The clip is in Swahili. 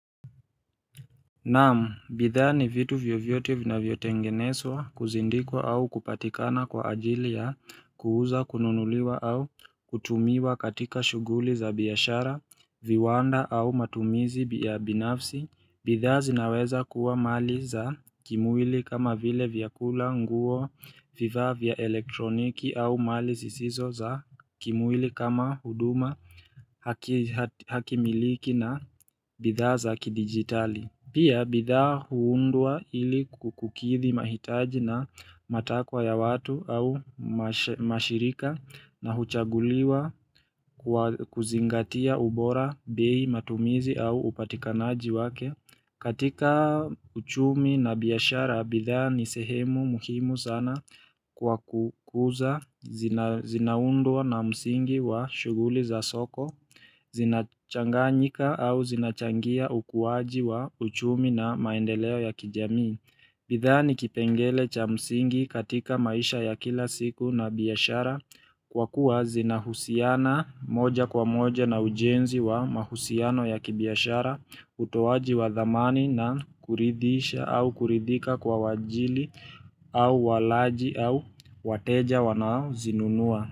Naam, bidhaa ni vitu vyovyote vina vyotengeneswa kuzindikwa au kupatikana kwa ajili ya kuuza kununuliwa au kutumiwa katika shuguli za biashara, viwanda au matumizi ya binafsi, bidhaa zinaweza kuwa mali za kimwili kama vile vyakula nguo vifaa vya elektroniki au mali zisizo za kimwili kama huduma hakimiliki na bidhaa za kidigitali Pia bidhaa huundwa ili kukukithi mahitaji na matakwa ya watu au mashirika na huchaguliwa kuzingatia ubora bei matumizi au upatikanaji wake. Katika uchumi na biashara, bidhaa ni sehemu muhimu sana kwa kukuza, zinaundwa na msingi wa shuguli za soko, zinachanganyika au zinachangia ukuwaji wa uchumi na maendeleo ya kijamii. Bidhaa ni kipengele cha msingi katika maisha ya kila siku na biashara kwa kuwa zinahusiana moja kwa moja na ujenzi wa mahusiano ya kibiashara utowaji wa dhamani na kuridhisha au kuridhika kwa wajili au walaji au wateja wanao zinunua.